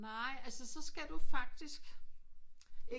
Nej altså så skal du faktisk